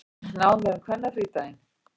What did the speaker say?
Nánar um kvennafrídaginn